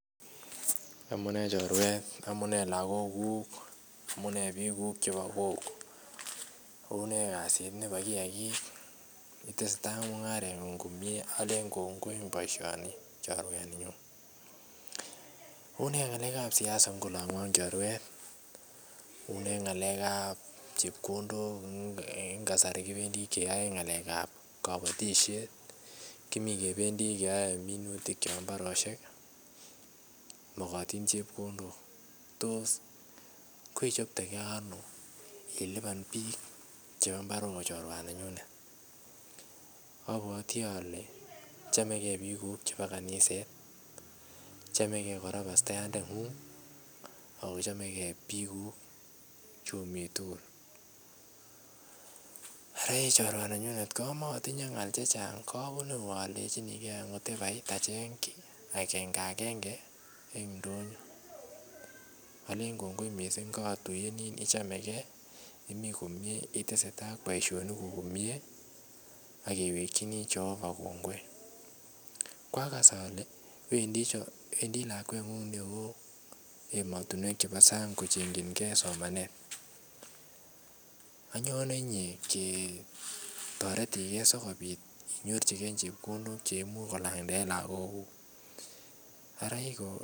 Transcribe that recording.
Amune chorwet amune lokoguk amunee biik guk chebo kokwet unee kasit nebo kiyagik itesetai ak mungarengu komie Olen kongoi en boisionik cheiyoe en yon unee ngalekab siasa en ngo lon I choruet unee ngalekab chepkondok en kasari kibendi keyoe ngalekab kobotisiet kimi kipendi keyoe minutikab en mbarosiek mokotin chepkondok tos kechoptegei ono ilipan biik chebo imbar ochoruwaninyune obwoti ole chomegei bikuk chebo kaniset chomegei kora pastayantenguk ako chomegei biiguk che omi tugul ara Ii choruwaninyune kamotinye ngal chechang kobune Yu Olen acheng ki akengagenge en ndonyo Olen kongoi mising kootuyenen ichomegei ak itesetai en boisionikuk komie ak kewekjini Jehovah kongoi kwages ole weindi lakwenguk neoo emotinwek chebo sang kochenjingei somanet anyone ketoretigei sikobit inyorjigei chepkondok cheimuch kolanden en lokoguk araikongoi